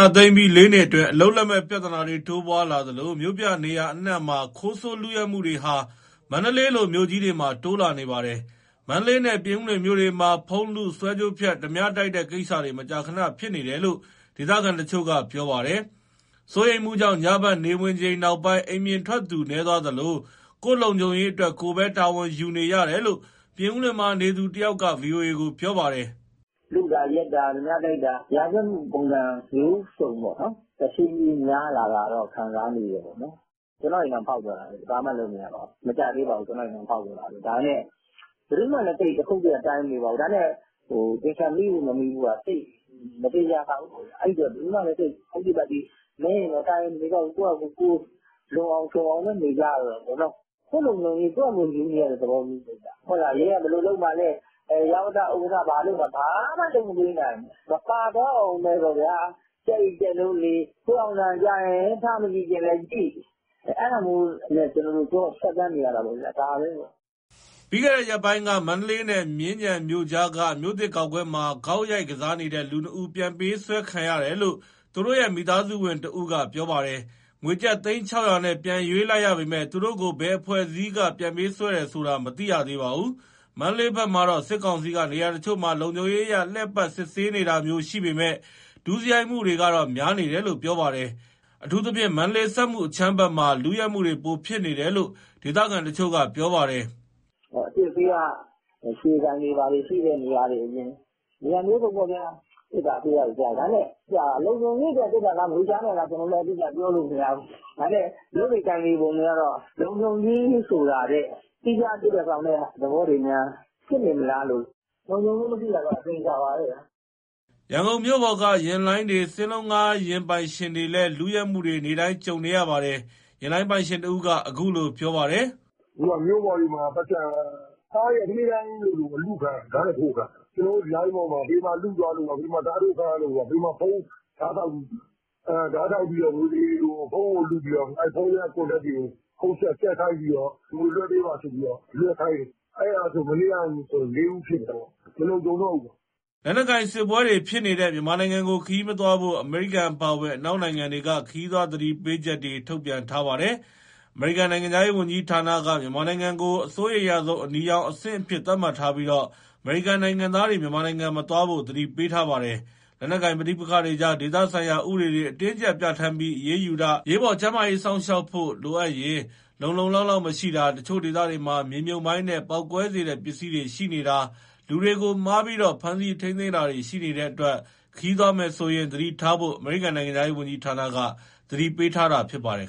ာသိမ်းပြီး လေးနှစ်အတွင်း အလုပ်လက်မဲ့ပြဿနာတွေ တိုးပွားလာသလို မြို့ပြနေရာအနှံ့မှာ ခိုးဆိုး၊ လုယက်မှုတွေဟာ မန္တလေးလိုမြို့ကြီးတွေမှာ တိုးလာနေပါတယ်။ မန္တလေးနဲ့ ပြင်ဦးလွင်မြို့တွေ မှာ ဖုန်းလု၊ ဆွဲကြိုးဖြတ်၊ ဓားပြတိုက်တဲ့ကိစ္စတွေ မကြာခဏ ဖြစ်နေတယ်လို့ ဒေသခံတချို့က ပြောပါတယ်။ စိုးရိမ်မှုကြောင့် ညဘက်နေဝင်ချိန်နောက်ပိုင်း အိမ်ပြင်ထွက်သူနည်းသွားသလို ကိုယ့်လုံခြုံရေးအတွက် ကိုယ်ပဲ တာဝန်ယူနေရတယ်လို့ ပြင်ဦးလွင်မှာနေသူတယောက်က ဗွီအိုအေကို ပြောပါတယ်။ "လုတာ၊ ယက်တာ၊ ဓားပြတိုက်တာ ရာဇဝတ်မှုပုံစံ မျိုးစံပေါ့နော် တဖြည်းဖြည်းများလာတာ ခံစားမိတယ်။ ကျနော့အိမ်တောင် ဖောက်သွားတာပဲလေ၊ ဘာမှလုပ်လို့မရဘူး၊ မကြာသေးပါဘူး။ ဒါပေမဲ့ ဘယ်သူမှ တခုတ်တရ တိုင်မနေပါဘူး။ သေချာမိဖို့၊ မမိဖို့က မသေချာလှဘူး။ အဲဒါမို့ ဘယ်သူမှလည်း ဟုတ်တိပတိ- နည်းရင်တော့ တိုင်မနေတော့ဘူး၊ ကိုယ့်ဖာကိုယ် လုံအောင်ခြုံအောင်ပဲ နေကြရတော့တာပေါ့။ ကိုယ့်လုံခြုံရေး ကိုယ့်ဖာကိုယ်ယူနေရတဲ့သဘောမျိုးပဲဗျ။ ရဲက ဘယ်လိုလုပ်မှာ လဲ၊ ရပ်ကွက်ဥက္ကဋ္ဌ ဘာလုပ်မှာလဲ၊ ဘာမှမလုပ်ပေးနိုင်ဘူး။ မပါသွားအောင်ဘဲပေါ့ ကြက်အိပ်ကြက်နိုး နေ၊ ခွေးဟောင်သံကြားရင် ထမကြည့်ချင်လည်းကြည့်၊ အဲဒါမျိုးနဲ့ ကျနော်တို့ ဖြတ်သန်းနေရတာပေါ့။" ပြီးခဲ့တဲ့ရက်ပိုင်းက မန္တလေးနဲ့မြင်းခြံမြို့ကြားက မြို့သစ်ဂေါက်ကွင်းမှာ ဂေါက်ရိုက်ကစားနေတဲ့ လူနှစ်ဦး ပြန်ပေးဆွဲခံရတယ်လို့ သူတို့ရဲ့ မိသားစုဝင်တဦးက ပြောပါတယ်။ ငွေကျပ် သိန်း ၆၀၀ နဲ့ ပြန်ရွေးလိုက်ရပေမဲ့ သူတို့ကို ဘယ်အဖွဲ့အစည်းက ပြန်ပေးဆွဲတယ်ဆိုတာ မသိရသေးပါဘူး။ မန္တလေးဘက်မှာတော့ စစ်ကောင်စီက နေရာတချို့မှာ လုံခြုံရေးအရ လှည့်ပတ်၊ စစ်ဆေးနေတာမျိုး ရှိပေမဲ့ ဒုစရိုက်မှုတွေကတော့ များနေတယ်ပြောပါတယ်။ အထူးသဖြင့် မန္တလေး စက်မှုဇုံ အခြမ်းမှာ လုယက်မှုတွေ ပိုဖြစ်နေတယ်လို့ ဒေသခံတချို့က ပြောပါတယ်။ "အစစ်အဆေးက ရွှေဆိုင်တွေဘာတွေ ရှိတဲ့နေရာတွေအရင်၊ နေရာမျိုးစုံပေါ့ဗျာ။ စစ်တာဆေးတာ ကြားရတယ်။ ဒါပေမဲ့ လုံခြုံရေးအတွက်စစ်တာလား၊ ငွေရှာနေတာလား၊ ကျနော်တို့လည်းအတိအကျ ပြောလို့မရဘူး။ ဒါပေမဲ့ လုပ်နေ ကိုင်နေပုံတွေကတော့ လုံခြုံရေးဆိုတာထက် သီးခြားအဓိပ္ပာယ် ဆောင်တဲ့ သဘောတွေများ ဖြစ်နေမလားလို့။ လုံခြုံမှုမရှိတာတော့ အသေအချာပါပဲဗျာ။" ရန်ကုန်မြို့ပေါ်က ယာဉ်လိုင်းတွေ၊ စင်းလုံးငှားယာဉ်ပိုင်ရှင်တွေလည်း လုယက်မှုတွေကို နေ့တိုင်းကြုံနေရပါတယ်။ ယာဉ်လိုင်းပိုင်ရှင်တဦးက အခုလိုပြောပါတယ်။ "အခုက မြို့ပေါ်တွေမှာ ကားတွေက၊ နေ့တိုင်းလိုလို လုခံရ၊ ဓားနဲ့ထိုးခံရတယ်။ ကျနော်တို့ လိုင်းပေါ်မှာ ဘယ်မှာလုသွားလို့ပါ။ ဓားထိုးခံရလို့ပါ။ ဓားထောက်ဖုန်းလုပြီး ဖုန်းထဲက Contact တွေကို ဖုန်းဆက်ခိုင်းပြီး ငွေလွှဲပေးပါဆိုပြီး လွှဲခိုင်းတယ်။ အဲဆို မနေ့ကဆို လေးဦးဖြစ်တယ်။ မလုံခြုံတော့ဘူးပေါ့။" လက်နက်ကိုင်စစ်ပွဲတွေဖြစ်နေတဲ့ မြန်မာနိုင်ငံကို ခရီးမသွားဖို့ အမေရိကန်အပါအဝင် အနောက်နိုင်ငံ တွေက ခရီးသွားသတိတွေ ထုတ်ပြန်ထားပါတယ်။ အမေရိကန်နိုင်ငံခြားရေးဝန်ကြီးဌာနက မြန်မာနိုင်ငံကို အစိုးရိမ်ရဆုံး အနီရောင်အဆင့်အဖြစ်သတ်မှတ်ထားပြီး အမေရိကန်နိုင်ငံသားတွေ မြန်မာနိုင်ငံမသွားဖို့ သတိပေးထားပါတယ်။ လက်နက်ကိုင်ပဋိပက္ခတွေကြား ဒေသဆိုင်ရာ ဥပဒေတွေ အတင်းအကြပ် ပြဌာန်းပြီး အရေးယူတာ၊ အရေးပေါ် ကျန်းမာရေး စောင့်ရှောက်ဖို့ လိုအပ်ရင် လုံလုံလောက်လောက် မရှိတာ၊ တချို့ဒေသတွေမှာ မြေမြှုပ်မိုင်းနဲ့ ပေါက်ကွဲစေတဲ့ ပစ္စည်းတွေ ရှိနေတာ၊ လူတွေကိုမှားပြီး ဖမ်းဆီးထိန်းသိမ်းတာတွေ ရှိနေတဲ့အတွက် ခရီးသွားမယ်ဆိုရင် သတိထားဖို့ အမေရိကန် နိုင်ငံခြားရေးဝန်ကြီးဌာနက သတိပေးထားတာ ဖြစ်ပါတယ်